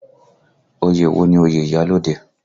Oyè wo ni oyè iyalode?